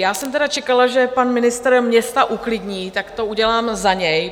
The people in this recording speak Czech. Já jsem tedy čekala, že pan ministr města uklidní, tak to udělám za něj.